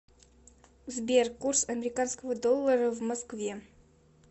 сбер курс американского доллара в москве